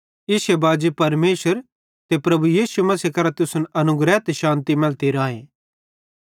इश्शे बाजी परमेशर ते प्रभु यीशु मसीह करां तुसन अनुग्रह ते शान्ति मैलती राए